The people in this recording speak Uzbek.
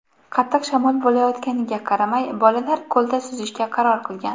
Qattiq shamol bo‘layotganiga qaramay, bolalar ko‘lda suzishga qaror qilgan.